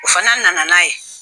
O fana nana n'a ye